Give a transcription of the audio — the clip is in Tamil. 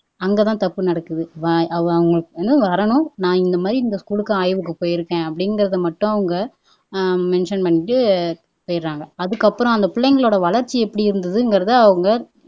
அங்கதான் தப்பு நடக்குது அவங்களுக்கு வந்து வரணும் நான் இந்த மாதிரி இந்த ஸ்கூலுக்கு ஆய்வுக்கு போயிருக்கேன் அப்படிங்கிறதை மட்டும் அவங்க மென்சன் பண்ணிட்டு போயிர்றாங்க ஆதுக்கப்புறம் அந்த பிள்ளைங்களோட வளர்ச்சி எப்படி இருந்துதுங்கிறதை அவங்க